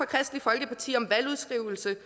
kristeligt folkeparti om valgudskrivelse